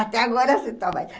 Até agora se toma.